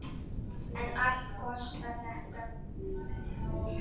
En allt kostar þetta nokkuð.